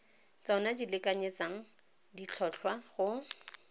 tsona di lekanyetsang ditlhotlhwa go